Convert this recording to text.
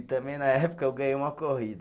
E também na época eu ganhei uma corrida.